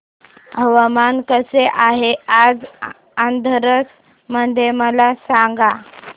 हवामान कसे आहे आज हाथरस मध्ये मला सांगा